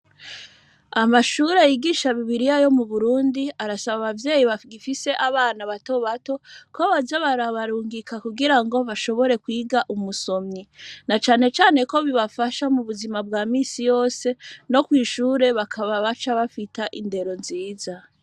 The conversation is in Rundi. Amashure yigisha bibiriya yo m,uburundi arasaba abavyeyi bagifise abana batobato ko boza barabarungika kugirango bashobore kwiga umusomyi nacanecane ko bibafasha mubuzima bwa misi yose no kwishure bakaba baca bafita indero nziza